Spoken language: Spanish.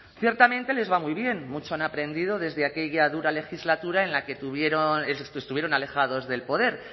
ciertamente les va muy bien mucho han aprendido desde aquella dura legislatura en la que estuvieron alejados del poder